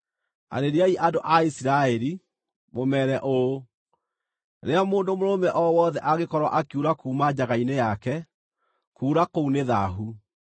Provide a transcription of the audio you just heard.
“Arĩriai andũ a Isiraeli, mũmeere ũũ: ‘Rĩrĩa mũndũ mũrũme o wothe angĩkorwo akiura kuuma njaga-inĩ yake, kuura kũu nĩ thaahu.